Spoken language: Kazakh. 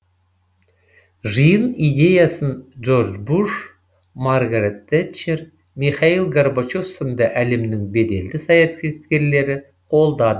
жиын идеясын джордж буш маргарет тэтчер михаил горбачев сынды әлемнің беделді саясаткерлері қолдады